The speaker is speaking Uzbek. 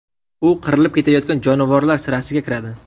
U qirilib ketayotgan jonivorlar sirasiga kiradi.